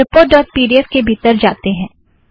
report dot P D F के भीतर जातें हैं